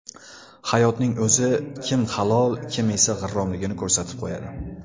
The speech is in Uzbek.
Hayotning o‘zi kim halol kim esa g‘irromligini ko‘rsatib qo‘yadi.